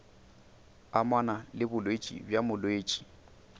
amana le bolwetši bja molwetši